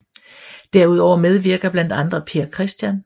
Derudover medvirker blandt andre Per Chr